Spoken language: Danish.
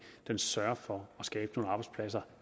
sørger for at skabe nogle arbejdspladser